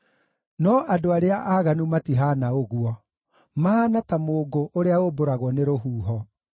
No andũ arĩa aaganu matihaana ũguo! Mahaana ta mũũngũ ũrĩa ũmbũragwo nĩ rũhuho.